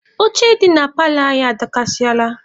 Oche dị na paalọ anyị adọkasịala.